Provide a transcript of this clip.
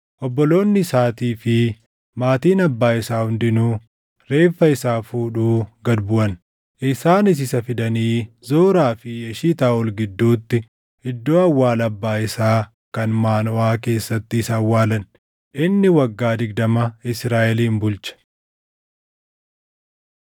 Obboloonni isaatii fi maatiin abbaa isaa hundinuu reeffa isaa fuudhuu gad buʼan. Isaanis isa fidanii Zoraa fi Eshitaaʼol gidduutti iddoo awwaala abbaa isaa kan Maanoʼaa keessatti isa awwaalan. Inni waggaa digdama Israaʼelin bulche.